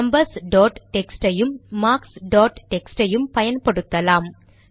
numbers dot text ஐயும் marks dot text ஐயும் பயன்படுத்தலாம்